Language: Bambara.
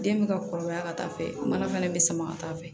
Den bɛ ka kɔrɔbaya ka taa fɛ mana fana bɛ sama ka taa fɛ